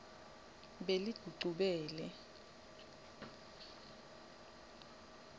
beligucubele